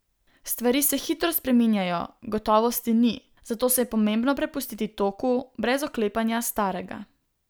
Stvari se hitro spreminjajo, gotovosti ni, zato se je pomembno prepustiti toku, brez oklepanja starega.